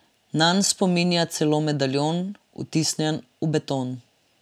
Nanj spominja celo medaljon, vtisnjen v beton.